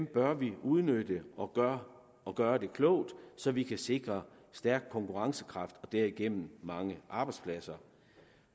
bør vi udnytte og gøre og gøre det klogt så vi kan sikre stærk konkurrencekraft og derigennem mange arbejdspladser